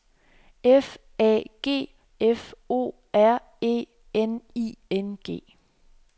F A G F O R E N I N G